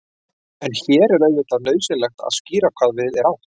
en hér er auðvitað nauðsynlegt að skýra hvað við er átt